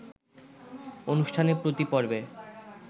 অনুষ্ঠানে প্রতি পর্বে